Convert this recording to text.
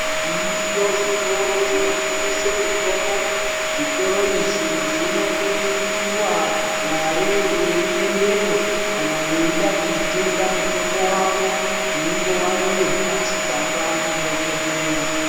Zviriyo zvitoro zvinotengese mutombo zvitoro izvi zvinodusiwa mare weiendepo kana weide kutenga mutombo wako unenge wanyorerwa chitsamba ndidhokodheya.